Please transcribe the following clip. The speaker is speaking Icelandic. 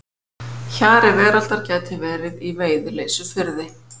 Hjari veraldar gæti verið í Veiðileysufirði.